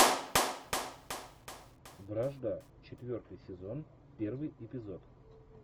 вражда четвертый сезон первый эпизод